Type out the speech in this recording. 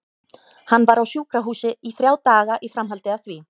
Hann var á sjúkrahúsi í þrjá daga í framhaldi af því.